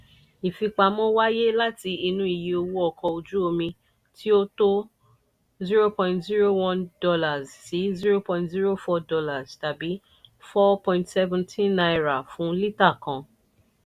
ìfipamọ́ wáyé láti inú iye owó ọkọ̀ ojú omi tí ó tó $ zero point zero one - zero point zero four tàbí ₦ four - seventeen fún lítà kan.